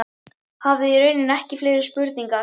Hafði í rauninni ekki fleiri spurningar.